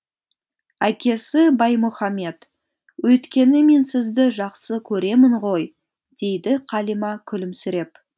әкесі баймұхамед өйткені мен сізді жақсы көремін ғой дейді қалима күлімсіреп